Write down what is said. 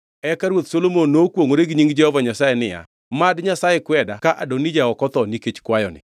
Eka Ruoth Solomon nokwongʼore gi nying Jehova Nyasaye niya, “Mad Nyasaye kweda ka Adonija ok otho nikech kwayoni.